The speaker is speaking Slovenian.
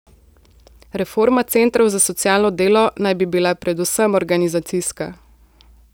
Reforma centrov za socialno delo naj bi bila predvsem organizacijska.